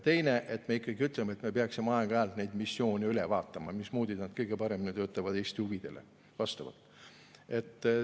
Teiseks, me peaksime aeg-ajalt neid missioone üle vaatama, mismoodi nad kõige paremini töötaksid Eesti huvidele vastavalt.